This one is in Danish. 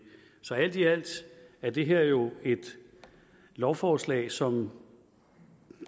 så alt i alt er det her jo et lovforslag som